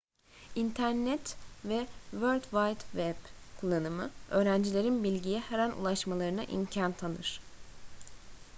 i̇nternet ve world wide web kullanımı öğrencilerin bilgiye her an ulaşmalarına imkan tanır